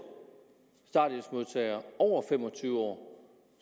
starthjælpsmodtagere over fem og tyve år